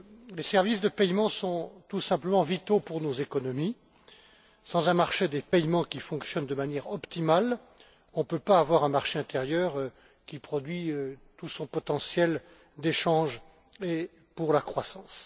Les services de paiement sont tout simplement vitaux pour nos économies. Sans un marché des paiements qui fonctionne de manière optimale, nous ne pouvons pas avoir un marché intérieur qui produit tout son potentiel en matière d'échanges et de croissance.